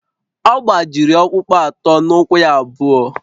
Ọ gbajiri ọkpụkpụ atọ n’ụkwụ ya abụọ